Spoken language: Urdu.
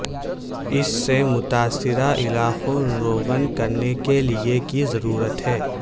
اس سے متاثرہ علاقوں روغن کرنے کے لئے کی ضرورت ہے